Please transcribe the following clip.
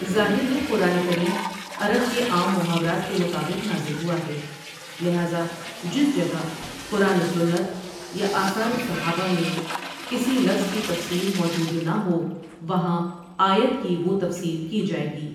ظاہر ہے قرآن کریم عرب کے عام محاورات کے مطابق نازل ہوا ہے لہذا جس جگہ قرآن وسنت یا آثار صحا بہ میں کسی لفظ کی تفسیر موجود نہ ہو وہاں آیت کی وہ تفسیر کی جائے گی ۔